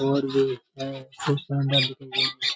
और भी है उसमें अंडा दिख नही --